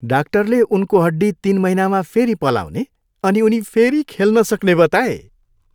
डाक्टरले उनको हड्डी तिन महिनामा फेरि पलाउने अनि उनी फेरि खेल्न सक्ने बताए।